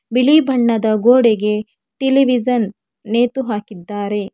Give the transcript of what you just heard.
ಬಿಳಿ ಬಣ್ಣದ ಗೋಡೆಗೆ ಟೆಲಿವಿಶನ್ ನೇತು ಹಾಕಿದ್ದಾರೆ.